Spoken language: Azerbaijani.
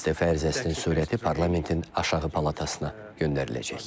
İstefa ərizəsinin surəti parlamentin aşağı palatasına göndəriləcək.